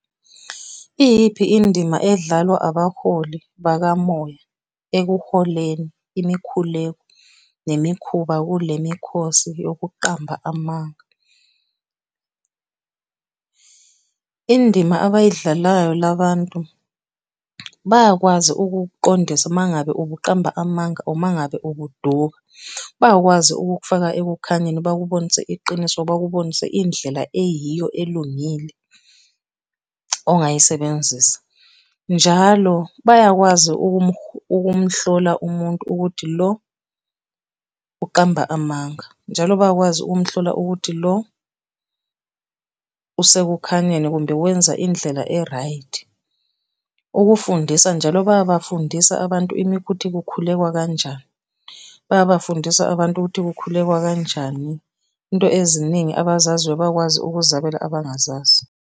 Iyiphi indima edlalwa abaholi bakamoya ekuholeni imikhuleko nemikhuba kule mikhosi yokuqamba amanga? Indima abayidlalelayo la bantu, bayakwazi ukukuqondisa uma ngabe ubuqamba amanga or mangabe ubuduka. Bayakwazi ukukufaka ekukhanyeni, bakubonise iqiniso, bakubonise indlela eyiyo elungile ongayisebenzisa. Njalo bayakwazi ukumuhlola umuntu ukuthi lo uqamba amanga. Njalo bayakwazi ukumhlola ukuthi lo usekukhanyeni kumbe wenza indlela e-right. Ukufundisa, njalo bayabafundisa abantu kuthi kukhulekwa kanjani, bayabafundisa abantu ukuthi kukhulekwa kanjani, into eziningi, abazaziyo bayakwazi ukuzabela abangazazi.